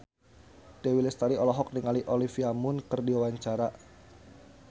Dewi Lestari olohok ningali Olivia Munn keur diwawancara